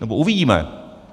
Nebo uvidíme.